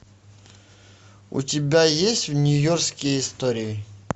у тебя есть нью йоркские истории